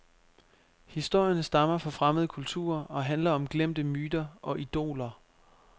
Historierne stammer fra fremmede kulturer og handler om glemte myter og idoler.